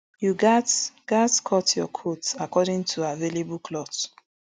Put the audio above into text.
you gatz gatz cut your coat according to available cloth